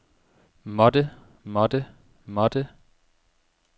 måtte måtte måtte